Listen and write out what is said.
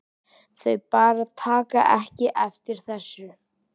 Þau bara taka ekki eftir þessu.